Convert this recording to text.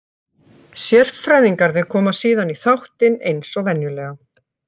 Sérfræðingarnir koma síðan í þáttinn eins og venjulega.